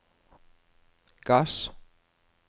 gass